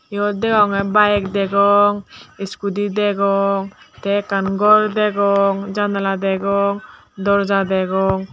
yot deonge bike degong scooty degong te ekkan gor degong jandala degong dorja degong.